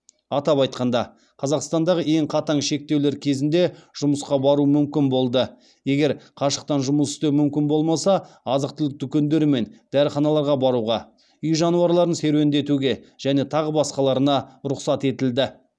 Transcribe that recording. атап айтқанда қазақстандағы ең қатаң шектеулер кезінде жұмысқа бару мүмкін болды егер қашықтан жұмыс істеу мүмкін болмаса азық түлік дүкендері мен дәріханаларға баруға үй жануарларын серуендетуге және тағы басқаларына рұқсат етілді